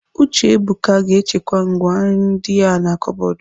Uchebuka ga-echekwa ngwá nri ndi a na kọbọdụ.